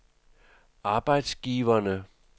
arbejdsgiverne